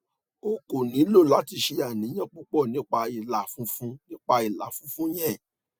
o ko nilo lati ṣe aniyan pupọ nipa ila funfun nipa ila funfun yẹn